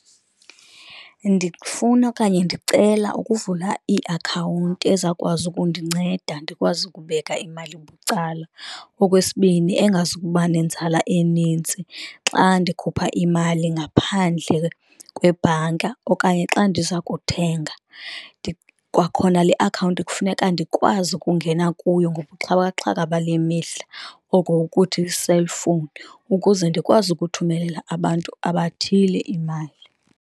Ndifuna okanye ndicela ukuvula iakhawunti ezawukwazi ukundinceda ndikwazi ukubeka imali bucala. Okwesibini, engazuba nenzala enintsi xa ndikhupha imali ngaphandle kwebhanka okanye xa ndiza kuthenga. Kwakhona le akhawunti kufuneka ndikwazi ukungena kuyo ngobuxhakaxhaka bale mihla oko ukuthi-cellphone, ukuze ndikwazi ukuthumelela abantu abathile imali.